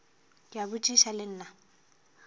ke a botšiša le nna